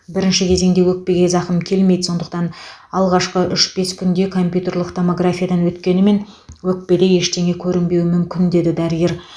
бірінші кезеңде өкпеге зақым келмейді сондықтан алғашқы үш бес күнде компьютерлік томографиядан өткенімен өкпеде ештеңе көрінбеуі мүмкін деді дәрігер